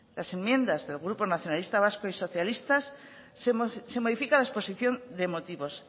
las enmiendas del grupo nacionalistas vasco y socialistas se modifica la exposición de motivos